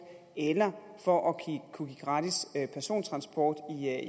eller for at kunne give gratis persontransport